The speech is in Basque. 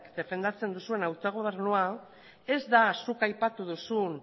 defendatzen duzuen autogobernua ez da zuk aipatu duzun